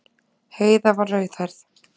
Heiða var rauðhærð.